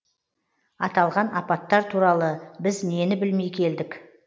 аталған апаттар туралы біз нені білмей келдік